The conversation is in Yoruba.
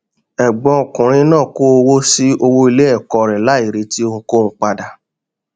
ẹgbọn ọkùnrin náà kó owó sí owó ilé ẹkọ rẹ láì retí ohunkóhun padà